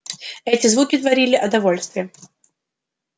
эти звуки творили о довольстве